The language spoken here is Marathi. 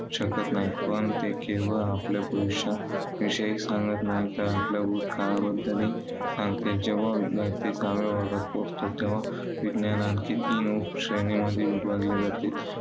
शकत नाही. पण ते केवळ आपल्या भविष्याविषयी सांगत नाही, तर आपल्या भूतकाळाबद्दलही सांगते. जेव्हा विद्यार्थी सहाव्या वर्गात पोहोचतो, तेव्हा विज्ञान आणखी तीन श्रेणीमध्ये विभागले जाते.